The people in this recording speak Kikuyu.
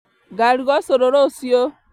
Ngaruga ũcũrũ rũciu